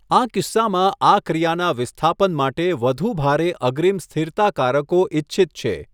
આ કિસ્સામાં આ ક્રિયાનાં વિસ્થાપન માટે વધુ ભારે અગ્રીમ સ્થિરતાકારકો ઇચ્છિત છે.